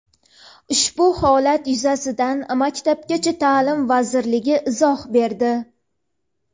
Ushbu holat yuzasidan Maktabgacha ta’lim vazirligi izoh berdi.